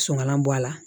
Sɔnŋala bɔ a la